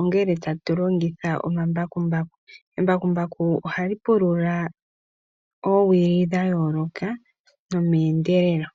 ongele tatu longitha omambakumbaku. Embakumbaku ohali pulula oowili dha yooloka nomeendelelo.